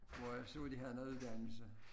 Hvor jeg så de havde noget uddannelse